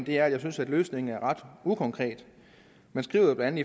at jeg synes at løsningen er ret ukonkret man skriver blandt